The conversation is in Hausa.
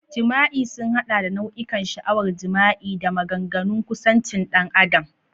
Jima'i sun haɗa da nau'ikan sha'awar jima'i da maganganun kusancin ɗan adam.